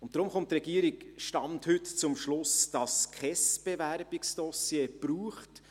Deshalb kommt die Regierung, Stand heute, zum Schluss, dass es kein Bewerbungsdossier braucht.